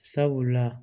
Sabula